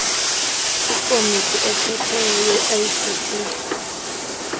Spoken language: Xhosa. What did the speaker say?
ikomiti ephetheyo yeidp